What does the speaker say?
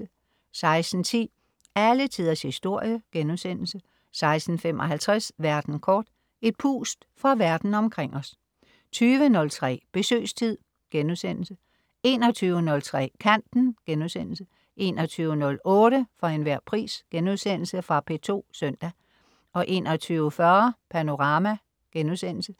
16.10 Alle Tiders Historie* 16.55 Verden kort. Et pust fra verden omkring os 20.03 Besøgstid* 21.03 Kanten* 21.08 For enhver pris.* Fra P2 søndag 21.40 Panorama*